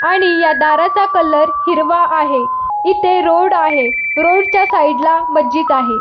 आणि या दाराचा कलर हिरवा आहे इथे रोड आहे रोड च्या साइड ला मस्जिद आहे.